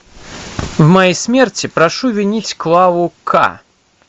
в моей смерти прошу винить клаву ка